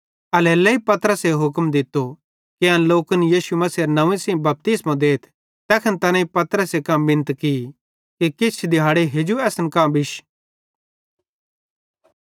एल्हेरेलेइ पतरसे हुक्म दित्तो कि एन लोकन यीशु मसीहेरे नंव्वे सेइं बपतिस्मो देथ तैखन तैनेईं पतरसे कां मिनत की कि किछ दिहाड़े असन कां हेजू बिश